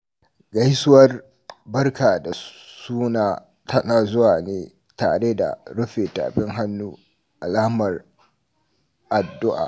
Gaisuwar "Barka da suna" tana zuwa ne tare da rufe tafin hannu alamar addu’a.